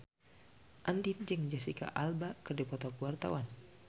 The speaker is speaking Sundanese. Andien jeung Jesicca Alba keur dipoto ku wartawan